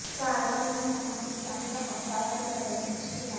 کاروان میں جماعت اسلامی کا ہفتہ وار مرکزی اجتماع